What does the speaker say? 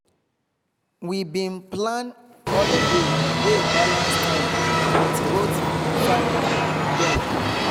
we been plan holiday wey balance time with both family dem